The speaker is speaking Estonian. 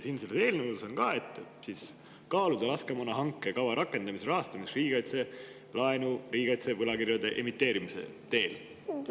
Selles eelnõus on ka, et tuleks kaaluda laskemoonahanke kava rakendamise rahastamiseks riigikaitselaenu riigikaitse võlakirjade emiteerimise teel.